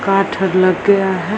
काठ अर लग गया है।